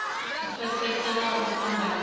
u pfesesa na u fhambanya